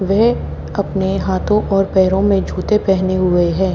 वे अपने हाथों और पैरों में जूते पहने हुए हैं।